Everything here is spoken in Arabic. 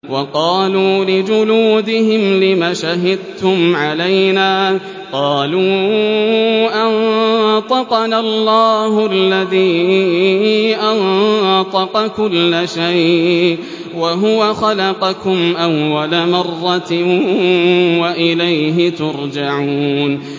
وَقَالُوا لِجُلُودِهِمْ لِمَ شَهِدتُّمْ عَلَيْنَا ۖ قَالُوا أَنطَقَنَا اللَّهُ الَّذِي أَنطَقَ كُلَّ شَيْءٍ وَهُوَ خَلَقَكُمْ أَوَّلَ مَرَّةٍ وَإِلَيْهِ تُرْجَعُونَ